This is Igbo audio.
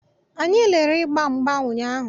Anyị lerere ịgba mgba ụnyaahụ.